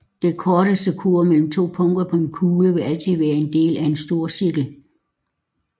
Den korteste kurve mellem to punkter på en kugle vil altid være en del af en storcirkel